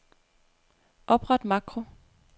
Opret makro.